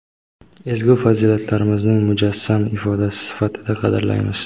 ezgu fazilatlarimizning mujassam ifodasi sifatida qadrlaymiz.